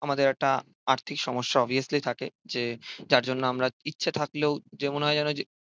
আমাদের একটা আর্থিক সমস্যা অবভিয়াসলি থাকে যে, যার জন্য আমরা ইচ্ছা থাকলেও যে মনে হয় যে